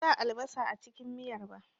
Ban sa albasa a cikin miyar ba